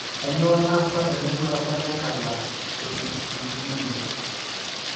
Kainyio naasa teneitu ebaki enkabila e I eCitrullinemia?